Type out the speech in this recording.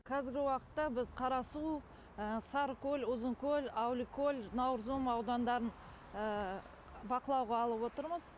қазіргі уақытта біз қарасу сарыкөл ұзынкөл әуликөл наурызым аудандарын бақылауға алып отырмыз